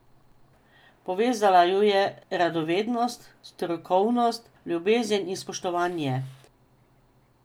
Povezala ju je radovednost, strokovnost, ljubezen in spoštovanje.